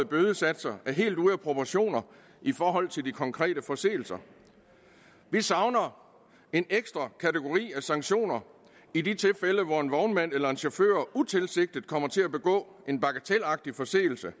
bødesatser er helt ude af proportioner i forhold til de konkrete forseelser vi savner en ekstra kategori af sanktioner i de tilfælde hvor en vognmand eller en chauffør utilsigtet kommer til at begå en bagatelagtig forseelse